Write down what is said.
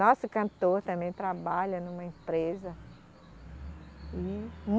Nosso cantor também trabalha numa empresa. E